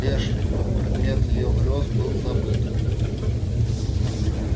эшли предмет её грёз был забыт